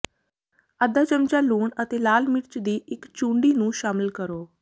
ਅੱਧਾ ਚਮਚਾ ਲੂਣ ਅਤੇ ਲਾਲ ਮਿਰਚ ਦੀ ਇੱਕ ਚੂੰਡੀ ਨੂੰ ਸ਼ਾਮਿਲ ਕਰੋ